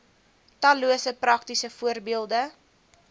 tallose praktiese voorbeelde